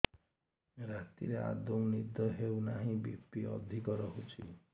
ରାତିରେ ଆଦୌ ନିଦ ହେଉ ନାହିଁ ବି.ପି ଅଧିକ ରହୁଛି